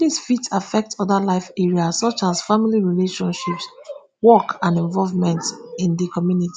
dis fit affect oda life areas such as family relationships work and involvement in di community